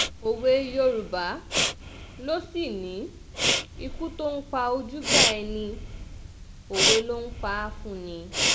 òwe yorùbá ló sì ní ikú tó ń pa ojúgbà ẹni òwe ló ń pa fún ni